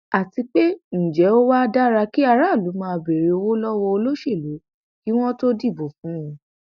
àti pé ǹjẹ ó wáá dára kí aráàlú máa béèrè owó lọwọ olóṣèlú kí wọn tóó dìbò fún un